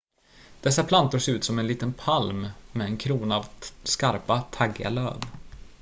dessa plantor ser ut som en liten palm med en krona av skarpa taggiga löv